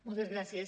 moltes gràcies